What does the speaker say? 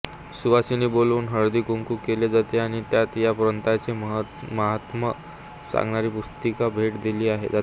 सुवासिनी बोलावून हळदीकुंकू केले जाते आणि त्याना या व्रताचे महात्म्य सांगणारी पुस्तिका भेट दिली जाते